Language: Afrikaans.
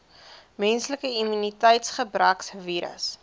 menslike immuniteitsgebrekvirus